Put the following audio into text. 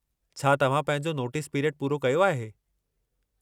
छा तव्हां पंहिंजो नोटिस पिरियड पूरो कयो आहे?